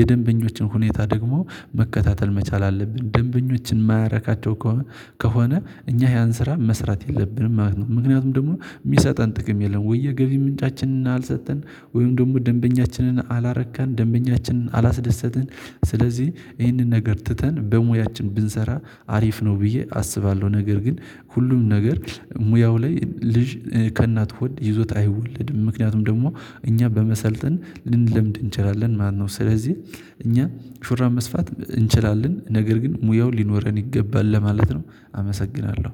የደንበኞችን ሁኔታ ደግሞ መከታተል መቻል አለብን ደንበኞችን የማያረካቸው ከሆነ ከሆነ እኛ ያን ስራ መስራት የለብንም ማለት ነው። ምክንያቱም ደግሞ የሚሰጠን ጥቅም የለም ወይ ገቢ ምንጫችንን አልሰጠን ወይም ደግሞ ደንበኛችንን አላረካን ደንበኛችንን አላስደሰትን። ስለዚህ ይህንን ነገር ትተን በሙያችን ብንሰራ አሪፍ ነው ብዬ አስባለሁ። ነገር ግን ሁሉም ነገር ሙያው ላይ ልጅ ከእናት ሆድ ይዞት አይወለድም ምክንያቱም ደግሞ እኛ በመሰልጠን ልንለምድ እንችላለን ማለት ነው። ስለዚህ እኛ ሹራብ መስፋት እንችላለን ነገር ግን ሙያው ሊኖረን ይገባል ለማለት ነው። አመሰግናለሁ